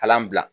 Kalan bila